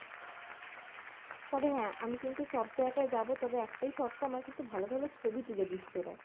তবে হ্যাঁ আমি কিন্তু সব জায়গায় যাবো তবে একটাই শর্ত আমার কিন্তু ভালো ভালো ছবি তুলে দিস তোরা।